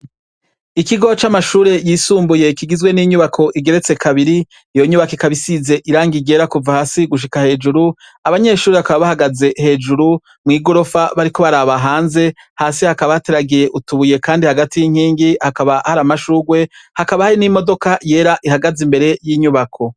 Ikigo c'amashure yisumbuye kigizwe n'inyubako igeretse kabiri. Iyo nyubako ikaba isize irangi ryera kuva hasi gushika hejuru; abanyeshure bakaba bahagaze hejuru mw'igorofa bariko baraba hanze. Hasi hakaba hateragiye utubuye kandi hagati y'inkingi. Hakaba hari amashurwe, hakaba hari n'imodoka yera ihagaze imbere y'inyubako